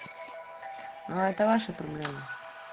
ну это ваши проблемы